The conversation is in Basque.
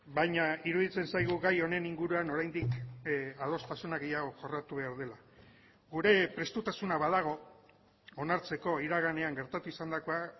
baina iruditzen zaigu gai honen inguruan oraindik adostasuna gehiago jorratu behar dela gure prestutasuna badago onartzeko iraganean gertatu izandakoa